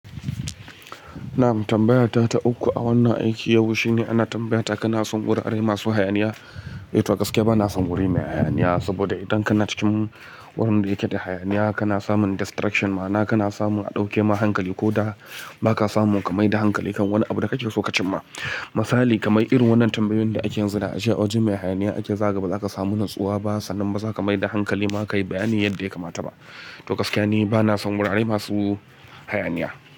Na, am tambaya ta ta uku a wannan aiki yau shine ana tambayata kana son wurare masu hayaniya? To gaskiya ba na son wuri mai hayaniya saboda idan kana cikin wurin da yake da hayaniya kana samun distraction ma'ana kana samun a ɗauke ma hankali ko da ba ka samu ka mai da hankali kan wani abu da kake so ka cim ma. Misali kamar irin wannan tambayoyin da ake yin su da a jiya, a wajen mai hayaniya ake zaga ba za ka samu natsuwa ba sannan ba za ka mai da hankali ma ka yi bayani yadda ya kamata ba. To gaskiya ni ba na son wurare masu hayaniya.